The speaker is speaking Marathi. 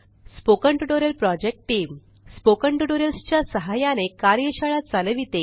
spoken tutorial project team spoken tutorials च्या सहाय्याने कार्यशाळा चालविते